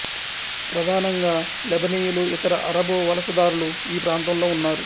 ప్రధానంగా లెబనీయులు ఇతర అరబు వలసదారులు ఈ ప్రాంతంలో ఉన్నారు